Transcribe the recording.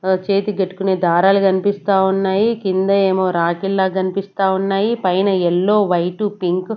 ఆ చేతి కట్టుకునే దారాలు కనిపిస్తా ఉన్నాయి కింద ఏమో రాకీళ్ల కనిపిస్తా ఉన్నాయి పైన ఎల్లో వైట్ పింక్ .